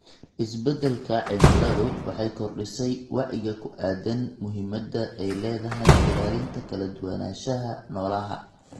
Isbeddelka cimiladu waxay kordhisay wacyiga ku aaddan muhiimadda ay leedahay ilaalinta kala duwanaanshaha noolaha.